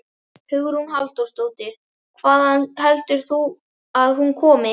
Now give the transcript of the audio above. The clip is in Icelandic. Hugrún Halldórsdóttir: Hvaðan heldur þú að hún komi?